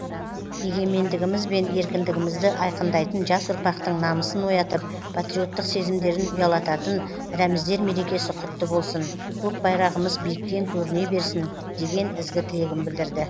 егемендіміз бен еркіндігімізді айқындайтын жас ұрпақтың намысын оятып патриоттық сезімдерін ұялататын рәміздер мерекесі құтты болсын көк байрағымыз биіктен көріне берсін деген ізгі тілегін білдірді